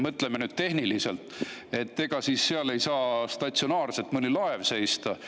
Mõtleme tehniliselt: ega siis seal ei saa statsionaarselt mõni laev seista.